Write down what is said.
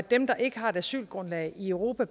dem der ikke har et asylgrundlag i europa